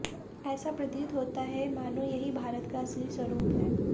ऐसा प्रतीत होता है मानो यही भारत का असली स्वरूप है